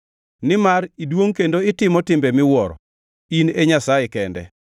Nimar iduongʼ kendo itimo timbe miwuoro; in e Nyasaye kende.